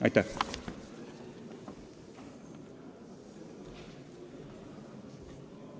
Aitäh!